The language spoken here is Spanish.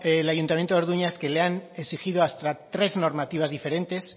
el ayuntamiento de orduña es que le han exigido hasta tres normativas diferentes